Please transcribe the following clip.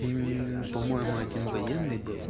по-моему один военный был